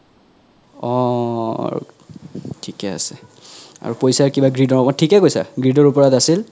অহহ থিকে আছে আৰু পইচা কিবা greed থিকে কৈছা greed ওপৰত আছিল